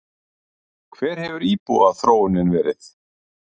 Hver hefur íbúaþróunin verið?